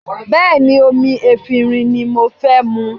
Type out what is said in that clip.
Bẹ́ẹ̀ ni, omi efinrin ni mo fẹ́ mu